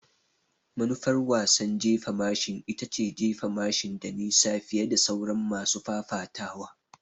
Manufar wasan jefa mashin ita ce jefa mashin da nisa fiye da sauran masu fafatawa.